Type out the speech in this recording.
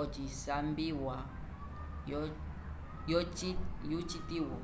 ocilambiwa yo citiwo